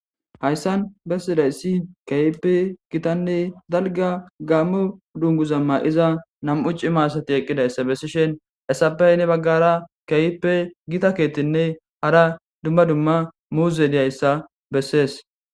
hayssan bessidayssi kayipe gitanne dalga gammo dungu zamma iza nam7u ci maasati eqqidayssa bessishen essapey ne baggara kayippe gita keettinne hara dumma dumma muuze diyayssa bessees